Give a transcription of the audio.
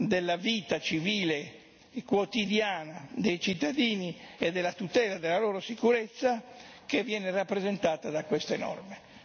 della vita civile e quotidiana dei cittadini e della tutela della loro sicurezza che viene rappresentata da queste norme.